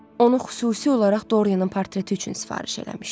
Onu xüsusi olaraq Dorianın portreti üçün sifariş eləmişdi.